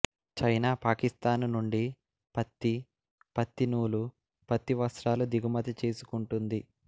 China Pakistan నుండి పత్తి పత్తి నూలు పత్తి వస్త్రాలు దిగుమతి చేసుకుంటుంది